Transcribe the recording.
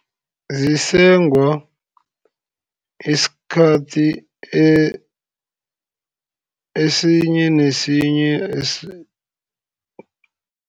Zisengwa isikhathi esinye nesinye